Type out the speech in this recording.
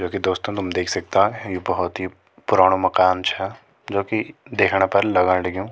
जोकि दोस्तों तुम देख सकदा हैं यु भौत ही पुराणो माकन छा जोकि देखण पर लगण लग्युं।